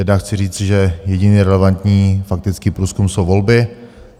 Jednak chci říci, že jediný relevantní faktický průzkum jsou volby.